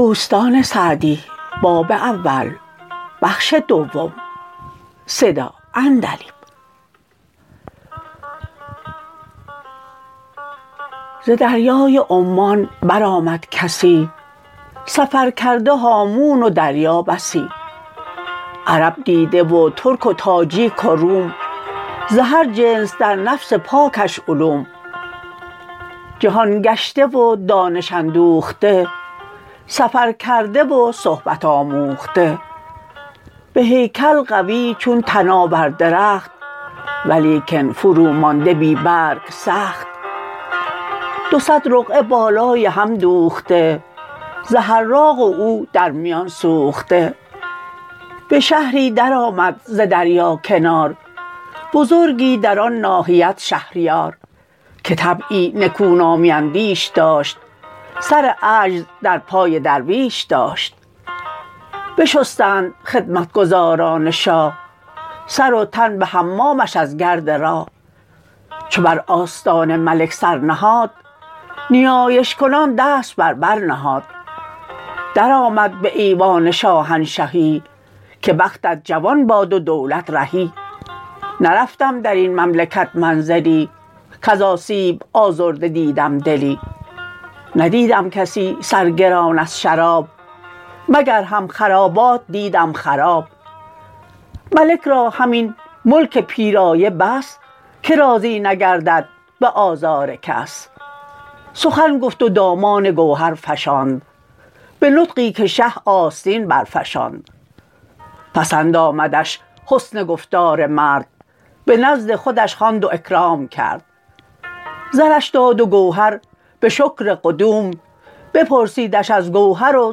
ز دریای عمان برآمد کسی سفر کرده هامون و دریا بسی عرب دیده و ترک و تاجیک و روم ز هر جنس در نفس پاکش علوم جهان گشته و دانش اندوخته سفر کرده و صحبت آموخته به هیکل قوی چون تناور درخت ولیکن فرو مانده بی برگ سخت دو صد رقعه بالای هم دوخته ز حراق و او در میان سوخته به شهری در آمد ز دریا کنار بزرگی در آن ناحیت شهریار که طبعی نکونامی اندیش داشت سر عجز در پای درویش داشت بشستند خدمتگزاران شاه سر و تن به حمامش از گرد راه چو بر آستان ملک سر نهاد نیایش کنان دست بر بر نهاد درآمد به ایوان شاهنشهی که بختت جوان باد و دولت رهی نرفتم در این مملکت منزلی کز آسیب آزرده دیدم دلی ندیدم کسی سرگران از شراب مگر هم خرابات دیدم خراب ملک را همین ملک پیرایه بس که راضی نگردد به آزار کس سخن گفت و دامان گوهر فشاند به نطقی که شه آستین برفشاند پسند آمدش حسن گفتار مرد به نزد خودش خواند و اکرام کرد زرش داد و گوهر به شکر قدوم بپرسیدش از گوهر و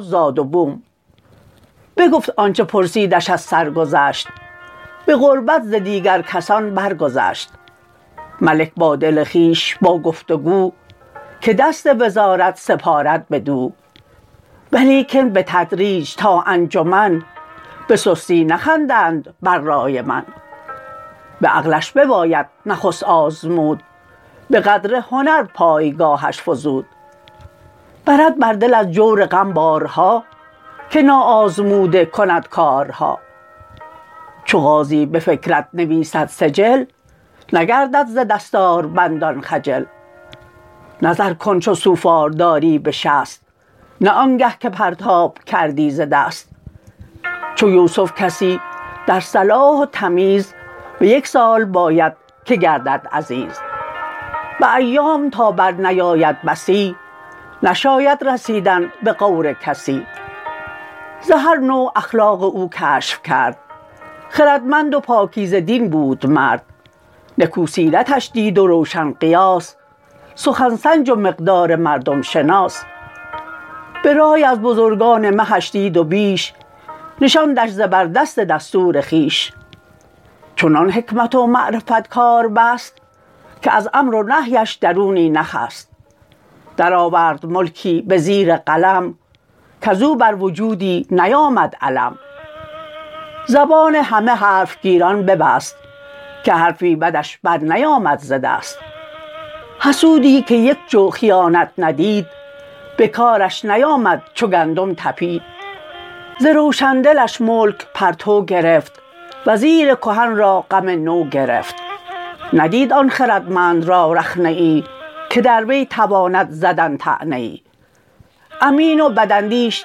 زاد و بوم بگفت آنچه پرسیدش از سرگذشت به قربت ز دیگر کسان بر گذشت ملک با دل خویش با گفت و گو که دست وزارت سپارد بدو ولیکن بتدریج تا انجمن به سستی نخندند بر رای من به عقلش بباید نخست آزمود به قدر هنر پایگاهش فزود برد بر دل از جور غم بارها که نا آزموده کند کارها چو قاضی به فکرت نویسد سجل نگردد ز دستاربندان خجل نظر کن چو سوفار داری به شست نه آنگه که پرتاب کردی ز دست چو یوسف کسی در صلاح و تمیز به یک سال باید که گردد عزیز به ایام تا بر نیاید بسی نشاید رسیدن به غور کسی ز هر نوع اخلاق او کشف کرد خردمند و پاکیزه دین بود مرد نکو سیرتش دید و روشن قیاس سخن سنج و مقدار مردم شناس به رای از بزرگان مهش دید و بیش نشاندش زبردست دستور خویش چنان حکمت و معرفت کار بست که از امر و نهیش درونی نخست در آورد ملکی به زیر قلم کز او بر وجودی نیامد الم زبان همه حرف گیران ببست که حرفی بدش بر نیامد ز دست حسودی که یک جو خیانت ندید به کارش نیامد چو گندم تپید ز روشن دلش ملک پرتو گرفت وزیر کهن را غم نو گرفت ندید آن خردمند را رخنه ای که در وی تواند زدن طعنه ای امین و بد اندیش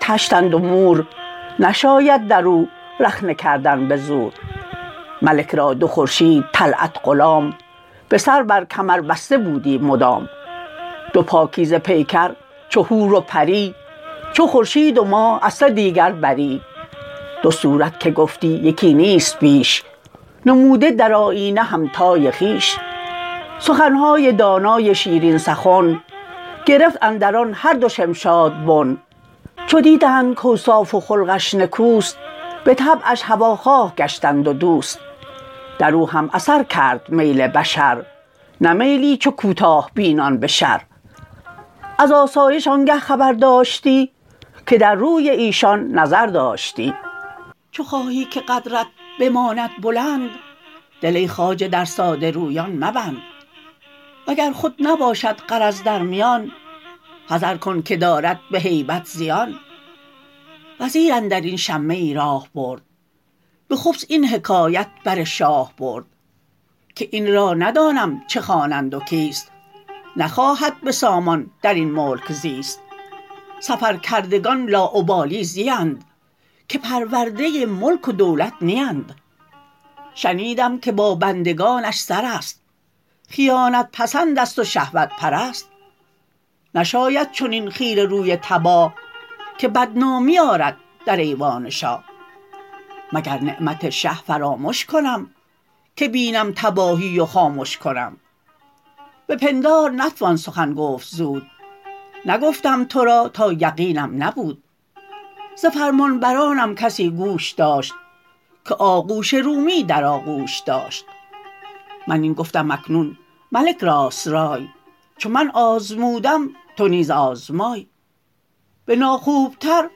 طشتند و مور نشاید در او رخنه کردن به زور ملک را دو خورشید طلعت غلام به سر بر کمر بسته بودی مدام دو پاکیزه پیکر چو حور و پری چو خورشید و ماه از سدیگر بری دو صورت که گفتی یکی نیست بیش نموده در آیینه همتای خویش سخنهای دانای شیرین سخن گرفت اندر آن هر دو شمشاد بن چو دیدند کاوصاف و خلقش نکوست به طبعش هواخواه گشتند و دوست در او هم اثر کرد میل بشر نه میلی چو کوتاه بینان به شر از آسایش آنگه خبر داشتی که در روی ایشان نظر داشتی چو خواهی که قدرت بماند بلند دل ای خواجه در ساده رویان مبند وگر خود نباشد غرض در میان حذر کن که دارد به هیبت زیان وزیر اندر این شمه ای راه برد به خبث این حکایت بر شاه برد که این را ندانم چه خوانند و کیست نخواهد به سامان در این ملک زیست سفر کردگان لاابالی زیند که پرورده ملک و دولت نیند شنیدم که با بندگانش سر است خیانت پسند است و شهوت پرست نشاید چنین خیره روی تباه که بد نامی آرد در ایوان شاه مگر نعمت شه فرامش کنم که بینم تباهی و خامش کنم به پندار نتوان سخن گفت زود نگفتم تو را تا یقینم نبود ز فرمانبرانم کسی گوش داشت که آغوش را اندر آغوش داشت من این گفتم اکنون ملک راست رای چو من آزمودم تو نیز آزمای به ناخوب تر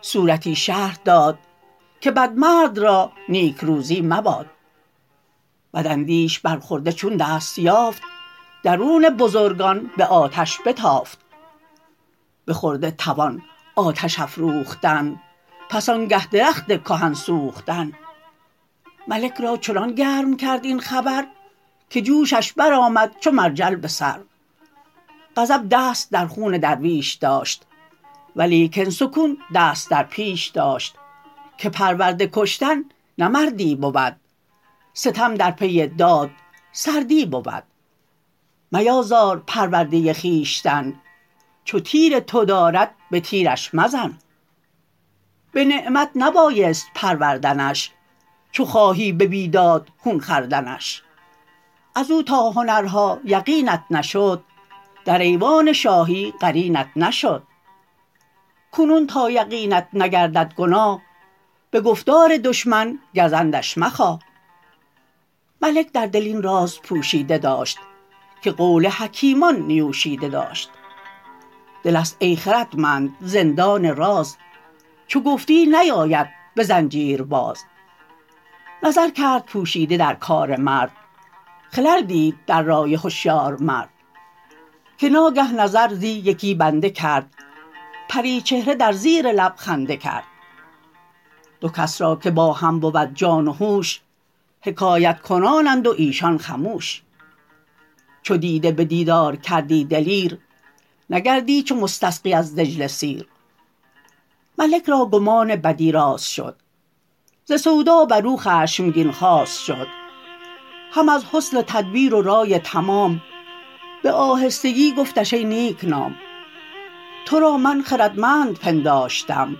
صورتی شرح داد که بد مرد را نیکروزی مباد بداندیش بر خرده چون دست یافت درون بزرگان به آتش بتافت به خرده توان آتش افروختن پس آنگه درخت کهن سوختن ملک را چنان گرم کرد این خبر که جوشش برآمد چو مرجل به سر غضب دست در خون درویش داشت ولیکن سکون دست در پیش داشت که پرورده کشتن نه مردی بود ستم در پی داد سردی بود میازار پرورده خویشتن چو تیر تو دارد به تیرش مزن به نعمت نبایست پروردنش چو خواهی به بیداد خون خوردنش از او تا هنرها یقینت نشد در ایوان شاهی قرینت نشد کنون تا یقینت نگردد گناه به گفتار دشمن گزندش مخواه ملک در دل این راز پوشیده داشت که قول حکیمان نیوشیده داشت دل است ای خردمند زندان راز چو گفتی نیاید به زنجیر باز نظر کرد پوشیده در کار مرد خلل دید در رای هشیار مرد که ناگه نظر زی یکی بنده کرد پری چهره در زیر لب خنده کرد دو کس را که با هم بود جان و هوش حکایت کنانند و ایشان خموش چو دیده به دیدار کردی دلیر نگردی چو مستسقی از دجله سیر ملک را گمان بدی راست شد ز سودا بر او خشمگین خواست شد هم از حسن تدبیر و رای تمام به آهستگی گفتش ای نیک نام تو را من خردمند پنداشتم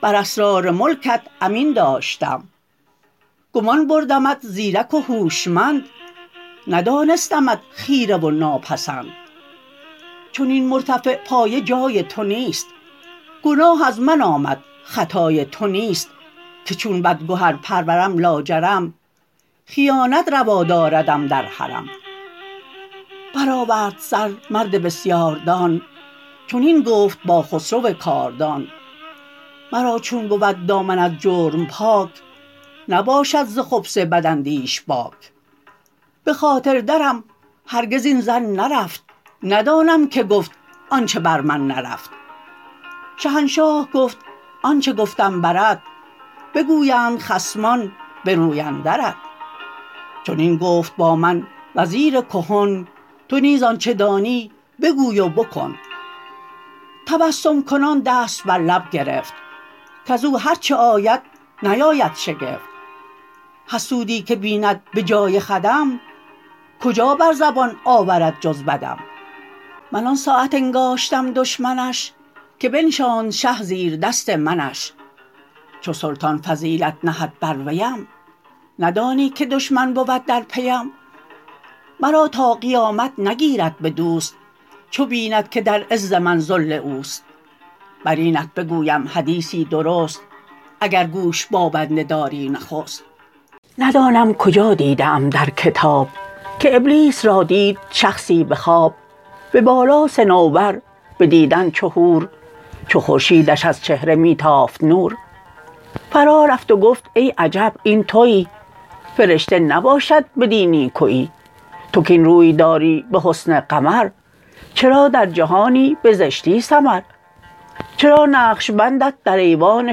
بر اسرار ملکت امین داشتم گمان بردمت زیرک و هوشمند ندانستمت خیره و ناپسند چنین مرتفع پایه جای تو نیست گناه از من آمد خطای تو نیست که چون بدگهر پرورم لاجرم خیانت روا داردم در حرم برآورد سر مرد بسیاردان چنین گفت با خسرو کاردان مرا چون بود دامن از جرم پاک نباشد ز خبث بداندیش باک به خاطر درم هرگز این ظن نرفت ندانم که گفت آنچه بر من نرفت شهنشاه گفت آنچه گفتم برت بگویند خصمان به روی اندرت چنین گفت با من وزیر کهن تو نیز آنچه دانی بگوی و بکن تسبم کنان دست بر لب گرفت کز او هر چه آید نیاید شگفت حسودی که بیند به جای خودم کجا بر زبان آورد جز بدم من آن ساعت انگاشتم دشمنش که بنشاند شه زیردست منش چو سلطان فضیلت نهد بر ویم ندانی که دشمن بود در پیم مرا تا قیامت نگیرد به دوست چو بیند که در عز من ذل اوست بر اینت بگویم حدیثی درست اگر گوش با بنده داری نخست ندانم کجا دیده ام در کتاب که ابلیس را دید شخصی به خواب به بالا صنوبر به دیدن چو حور چو خورشیدش از چهره می تافت نور فرا رفت و گفت ای عجب این تویی فرشته نباشد بدین نیکویی تو کاین روی داری به حسن قمر چرا در جهانی به زشتی سمر چرا نقش بندت در ایوان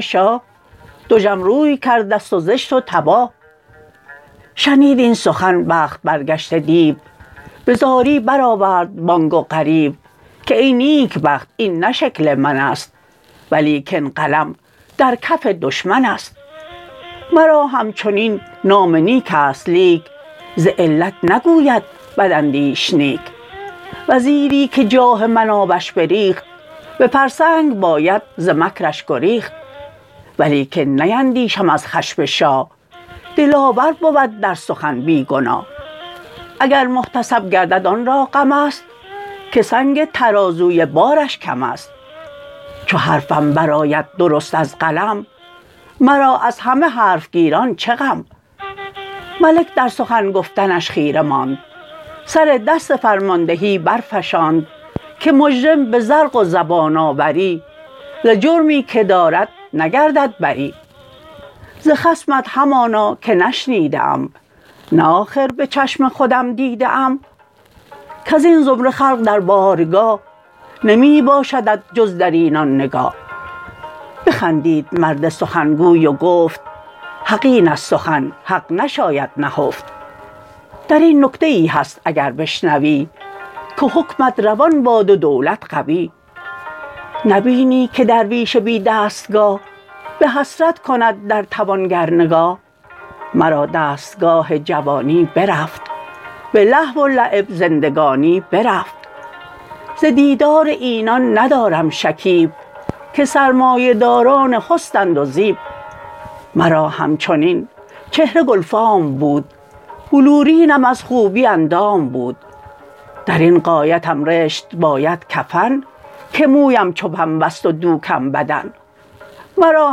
شاه دژم روی کرده ست و زشت و تباه شنید این سخن بخت برگشته دیو به زاری برآورد بانگ و غریو که ای نیکبخت این نه شکل من است ولیکن قلم در کف دشمن است مرا همچنین نام نیک است لیک ز علت نگوید بداندیش نیک وزیری که جاه من آبش بریخت به فرسنگ باید ز مکرش گریخت ولیکن نیندیشم از خشم شاه دلاور بود در سخن بی گناه اگر محتسب گردد آن را غم است که سنگ ترازوی بارش کم است چو حرفم برآید درست از قلم مرا از همه حرف گیران چه غم ملک در سخن گفتنش خیره ماند سر دست فرماندهی برفشاند که مجرم به زرق و زبان آوری ز جرمی که دارد نگردد بری ز خصمت همانا که نشنیده ام نه آخر به چشم خودم دیده ام کز این زمره خلق در بارگاه نمی باشدت جز در اینان نگاه بخندید مرد سخنگوی و گفت حق است این سخن حق نشاید نهفت در این نکته ای هست اگر بشنوی که حکمت روان باد و دولت قوی نبینی که درویش بی دستگاه به حسرت کند در توانگر نگاه مرا دستگاه جوانی برفت به لهو و لعب زندگانی برفت ز دیدار اینان ندارم شکیب که سرمایه داران حسنند و زیب مرا همچنین چهره گلفام بود بلورینم از خوبی اندام بود در این غایتم رشت باید کفن که مویم چو پنبه ست و دوکم بدن مرا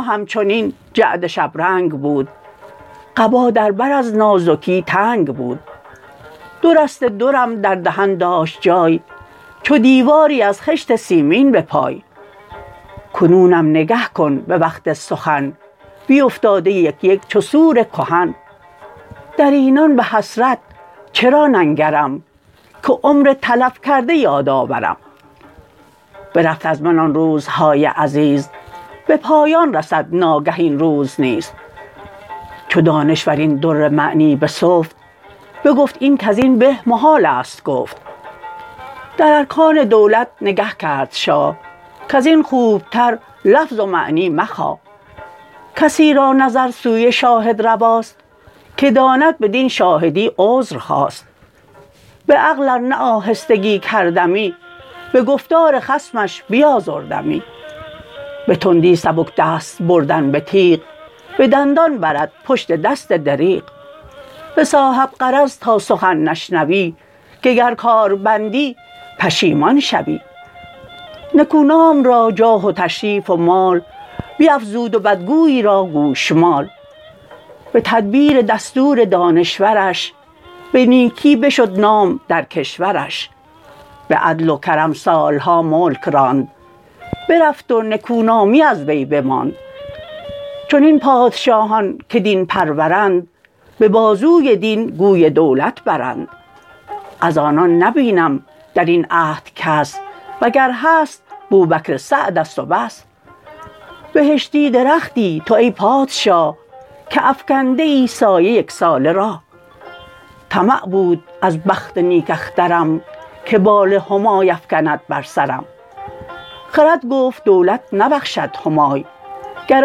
همچنین جعد شبرنگ بود قبا در بر از نازکی تنگ بود دو رشته درم در دهن داشت جای چو دیواری از خشت سیمین به پای کنونم نگه کن به وقت سخن بیفتاده یک یک چو سور کهن در اینان به حسرت چرا ننگرم که عمر تلف کرده یاد آورم برفت از من آن روزهای عزیز به پایان رسد ناگه این روز نیز چو دانشور این در معنی بسفت بگفت این کز این به محال است گفت در ارکان دولت نگه کرد شاه کز این خوبتر لفظ و معنی مخواه کسی را نظر سوی شاهد رواست که داند بدین شاهدی عذر خواست به عقل ار نه آهستگی کردمی به گفتار خصمش بیازردمی به تندی سبک دست بردن به تیغ به دندان برد پشت دست دریغ ز صاحب غرض تا سخن نشنوی که گر کار بندی پشیمان شوی نکونام را جاه و تشریف و مال بیفزود و بدگوی را گوشمال به تدبیر دستور دانشورش به نیکی بشد نام در کشورش به عدل و کرم سالها ملک راند برفت و نکونامی از وی بماند چنین پادشاهان که دین پرورند به بازوی دین گوی دولت برند از آنان نبینم در این عهد کس وگر هست بوبکر سعد است و بس بهشتی درختی تو ای پادشاه که افکنده ای سایه یک ساله راه طمع بود از بخت نیک اخترم که بال همای افکند بر سرم خرد گفت دولت نبخشد همای گر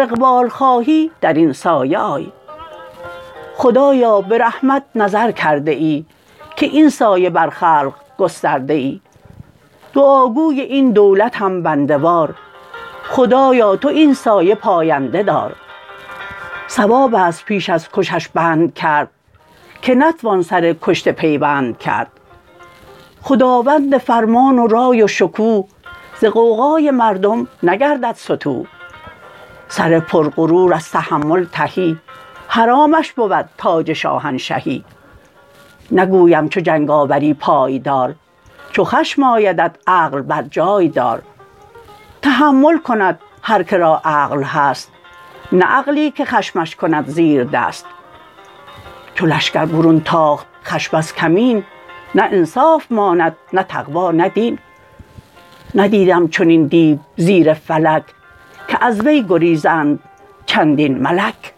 اقبال خواهی در این سایه آی خدایا به رحمت نظر کرده ای که این سایه بر خلق گسترده ای دعا گوی این دولتم بنده وار خدایا تو این سایه پاینده دار صواب است پیش از کشش بند کرد که نتوان سر کشته پیوند کرد خداوند فرمان و رای و شکوه ز غوغای مردم نگردد ستوه سر پر غرور از تحمل تهی حرامش بود تاج شاهنشهی نگویم چو جنگ آوری پای دار چو خشم آیدت عقل بر جای دار تحمل کند هر که را عقل هست نه عقلی که خشمش کند زیردست چو لشکر برون تاخت خشم از کمین نه انصاف ماند نه تقوی نه دین ندیدم چنین دیو زیر فلک که از وی گریزند چندین ملک